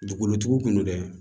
Dugukolotigi kunun dɛ